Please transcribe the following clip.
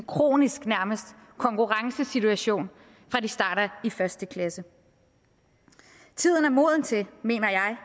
kronisk konkurrencesituation fra de starter i første klasse tiden er moden til mener jeg